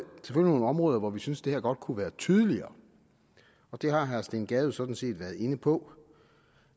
nogle områder hvor vi synes at det her godt kunne være tydeligere det har herre steen gade sådan set været inde på